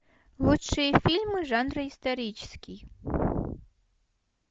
лучшие фильмы жанра исторический